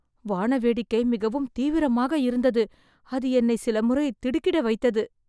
வானவேடிக்கை மிகவும் தீவிரமாக இருந்தது. அது என்னை சில முறை திடுக்கிட வைத்தது